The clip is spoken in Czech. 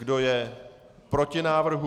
Kdo je proti návrhu?